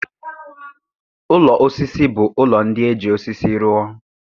Ụlọ osisi bụ ụlọ ndị e ji osisi rụọ